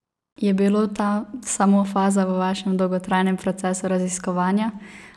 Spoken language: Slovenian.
Je bilo ta samo faza v vašem dolgotrajnem procesu raziskovanja?